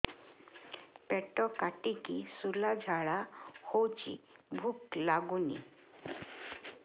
ପେଟ କାଟିକି ଶୂଳା ଝାଡ଼ା ହଉଚି ଭୁକ ଲାଗୁନି